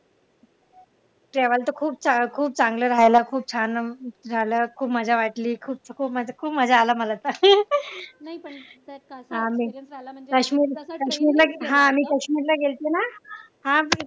तेव्हा तर खूप चांगलं राहायला खूप छान झालं. खूप मज्जा वाटली खूप म्हणजे खूप मज्जा आला मला हा मी काश्मीर हा मी काश्मीर ला गेले ते ना हा